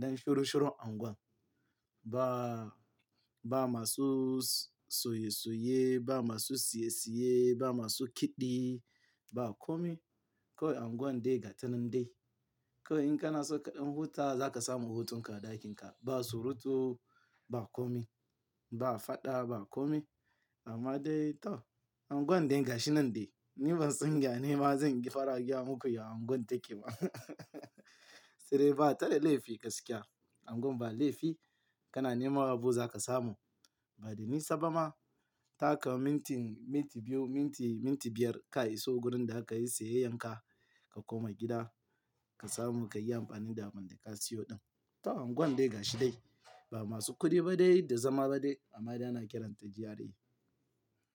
dan shuru shuru unguwa. Ba, ba masu soye soye, ba masu siye siye, ba masu kiɗi, ba kome. Kawai unguwar dai ga tanan dai. Kawai in ka na so kaɗan huta za ka samu hutun ka a ɗakin ka. Ba surutu, ba kome, ba faɗa, ba kome. Amma dai to unguwar dai gashi nan dai. Ni ban tsinga yane ma zan yi farar giya muku yayin unguwar take ba. Sai dai ba ta da laifi gaskiya. Unguwar ba laifi, kana neman abu za ka samu. Bada nisa bama, taka minti, minti biyu, minti, minti biyar ka iso gurin da za ka yi siyayyar ka, ka koma gida, ka samu ka yi amfani da abin da ka siyo ɗin. To unguwar dai gashi dai. Ba masu kuɗi ba dai da zama ba dai, amma dai ana kiranta GRA.